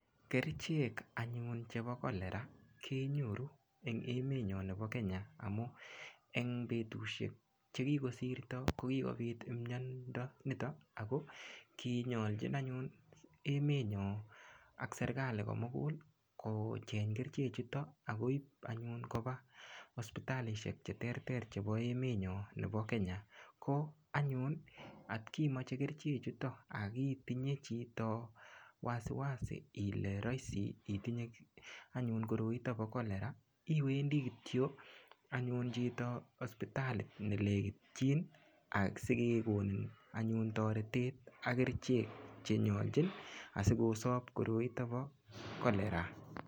Kerchek anyun chepo cholera kenyoru eng emetnyo nebo Kenya emu eng petushek chekikosirto kokikopit imyondo nitok Ako kinyolchi anyun emenyo ak serikali komukul kocheng kerchechuto akoip anyun kopa hospitalishek cheterter chebo emenyo nebo Kenya ko anyun atkimoche kerchechuto akitinye chito wasi wasi ile raisi itinye anyun chito koroito po cholera iwendi kityo anyun chito hospitali nelekitchin asikekonin anyun toretet ak kerchek chenyolchin asikosop koroito po cholera